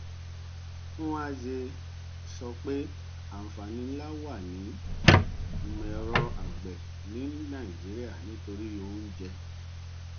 nwanze sọ pé àǹfààní nlá wà ní ìmọẹrọ àgbè ní nàìjíríà nítorí oúnjẹ